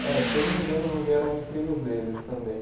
Eh, se eu não me engano, não vieram os primos deles também.